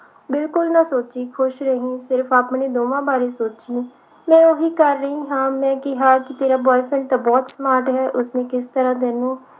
ਬਿਲਕੁਲ ਨਾ ਸੋਚੀ ਖੁਸ਼ ਰਹੀ ਸਿਰਫ ਆਪਣੇ ਦੋਹਾਂ ਬਾਰੇ ਸੋਚੀ ਮੈਂ ਉਹੀ ਕਰ ਰਹੀ ਹਾਂ ਮੈਂ ਕਿਹਾ ਕਿ ਤੇਰਾ boyfriend ਤਾਂ ਬਹੁਤ smart ਹੈ ਉਸਨੇ ਕਿਸ ਤਰ੍ਹਾਂ ਤੈਨੂੰ